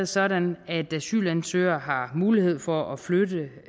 sådan at asylansøgere har mulighed for at flytte